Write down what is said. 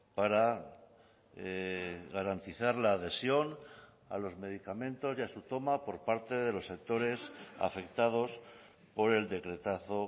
para garantizar la adhesión a los medicamentos y a su toma por parte de los sectores afectados por el decretazo